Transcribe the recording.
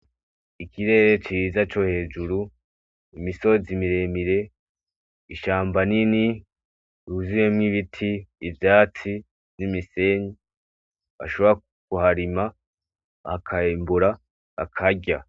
Ikirere ciza co hejuru ,imisozi miremire, ishamba rinini, ryuzuyemwo ibiti ivyatsi n'imisenyi bashobora kuharima bakimbura bakarya.